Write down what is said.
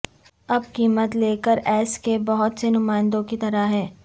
اب قیمت لکیر ایس کے بہت سے نمائندوں کی طرح ہے